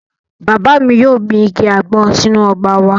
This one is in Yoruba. Bàbá mi yóò gbin igi àgbọn sínú ọgbà wa